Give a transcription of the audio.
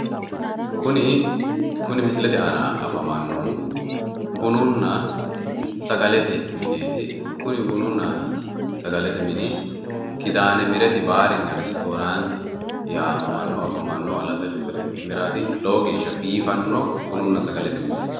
Kuni misilete aana afamannohu bununna sagalete mineeti. kuni bununna sagalete mini kidaane mireti baarinna ristooraanti yamamannohu afamannohu Alatta cuukote quchumiraati lowo geeshsha biifanno bununna sagalete mineeti.